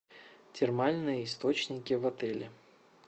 термальные источники в отеле